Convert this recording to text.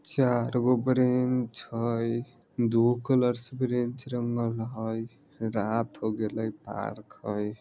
चार गो ब्रेंच हेय दू गो कलर से ब्रेंच रंगल हेय रात होय गेलेे पार्क हय।